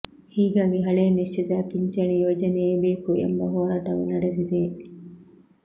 ಹೀಗಾಗಿ ಹಳೇ ನಿಶ್ಚಿತ ಪಿಂಚಣಿ ಯೋಜನೆಯೇ ಬೇಕು ಎಂಬ ಹೋರಾಟವೂ ನಡೆದಿದೆ